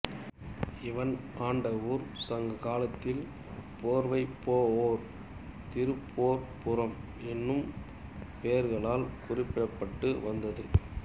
இவன் ஆண்ட ஊர் சங்ககாலத்தில் போர்வை போஒர் திருப்போர்ப்புறம் என்னும் பெயர்களால் குறிப்பிடப்பட்டு வந்தது